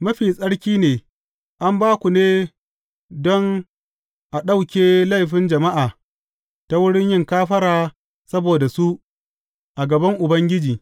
Mafi tsaki ne; an ba ku ne don a ɗauke laifin jama’a ta wurin yin kafara saboda su a gaban Ubangiji.